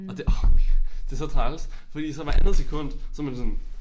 Og det orh det så træls fordi så hvert andet sekund så man sådan